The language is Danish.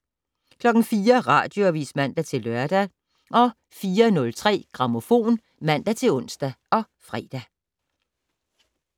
04:00: Radioavis (man-lør) 04:03: Grammofon (man-ons og fre)